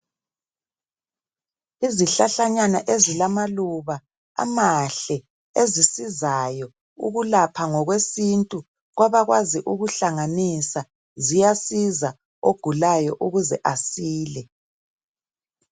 Izhlahlanyana ezilamaluba amahle ezisizayo ukulapha ngokwesintu kwabakwazi ukuhlanganisa ziyasiza ogulayo ukuze asile .